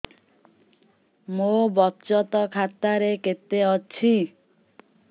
ମୋ ବଚତ ଖାତା ରେ କେତେ ଅଛି